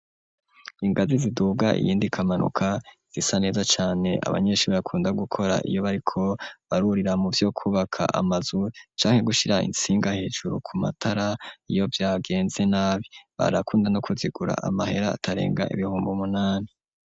ingazi ziduga iyindi ikamanuka zisa neza cane abanyeshuri bakunda gukora iyo bariko barurira mu vyo kubaka amazu canke gushira itsinga hejuru ku matara iyo vyagenze nabi, barakunda no kuzigura amahera atarenga ibihumbi umunani.